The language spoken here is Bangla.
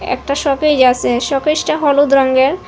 একটা শোকেস আসে শোকেসটা হলুদ রঙ্গের।